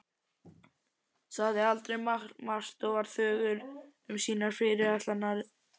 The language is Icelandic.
Sagði aldrei margt og var þögul um sínar fyrirætlanir.